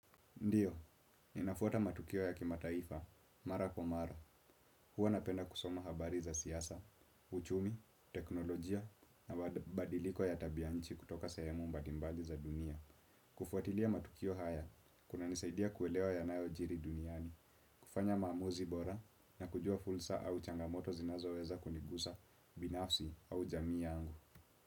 Ndio, ninafuata matukio ya kimataifa, mara kwa mara, huwa napenda kusoma habari za siasa, uchumi, teknolojia, na mabadiliko ya tabia nchi kutoka sehemu mbalimbali za dunia. Kufuatilia matukio haya, kunanisaidia kuelewa yanayojiri duniani, kufanya maamuzi bora na kujua fursa au changamoto zinazoweza kunigusa binafsi au jamii yangu.